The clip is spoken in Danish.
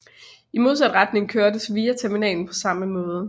I modsat retning kørtes via terminalen på samme måde